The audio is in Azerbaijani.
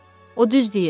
O düz deyir.